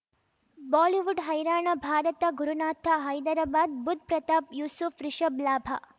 Bollywood ಹೈರಾಣ ಭಾರತ ಗುರುನಾಥ ಹೈದರಾಬಾದ್ ಬುಧ್ ಪ್ರತಾಪ್ ಯೂಸುಫ್ ರಿಷಬ್ ಲಾಭ